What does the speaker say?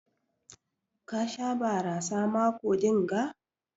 Ka Sha barasa mako dinga?